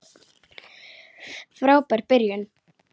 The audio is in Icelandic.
Frábær byrjun.